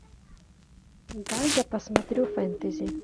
дай я посмотрю фэнтези